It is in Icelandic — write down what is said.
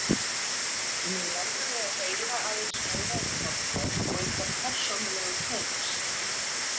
Mig langaði að heyra aðeins meira um Þorbjörn og ykkar persónulegu tengsl.